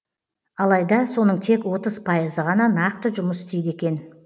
алайда соның тек отыз пайызы ғана нақты жұмыс істейді екен